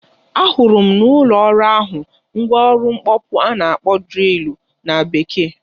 Ahụrụ m n'ụlọ ọrụ ahụ mgwa ọrụ mkpọpụ a na-akpọ drịlụ na Bekee.